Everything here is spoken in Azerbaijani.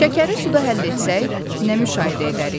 Şəkəri suda həll etsək, nə müşahidə edərik?